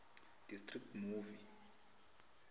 district movie